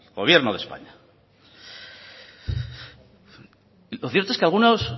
gobierno de españa lo cierto es que algunos